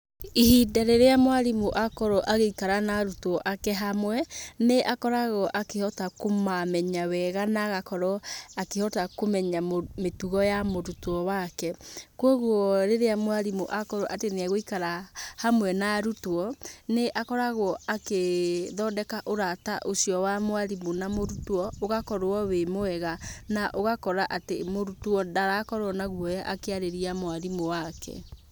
Ihinda rĩrĩa mwarimũ akorwo agĩikara na arutwo ake hamwe, nĩ akoragwo akĩhota kũmamenya wega na agakorwo, akĩhota kũmenya mĩtugo ya mũrutwo wake. Koguo rĩrĩa mwarimũ atuĩka nĩ egũikara hamwe na arutwo, nĩ akoragwo akĩ, thondeka ũrata ũcio wa mwarimũ na mũrutwo, ũgakorwo wĩ mwega, na ũgakora atĩ mũrutwo ndarakorwo na guoya akĩarĩria mwarimũ wake.